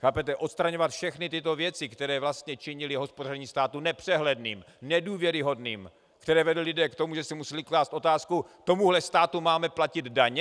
Chápete, odstraňovat všechny tyto věci, které vlastně činily hospodaření státu nepřehledným, nedůvěryhodným, které vedly lidi k tomu, že si museli klást otázku: Tomuhle státu máme platit daně?